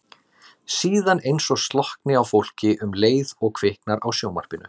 Síðan eins og slokkni á fólki um leið og kviknar á sjónvarpinu.